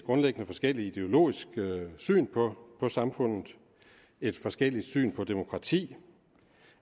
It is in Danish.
grundlæggende forskelligt ideologisk syn på samfundet et forskelligt syn på demokrati